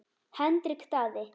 Hendrik Daði.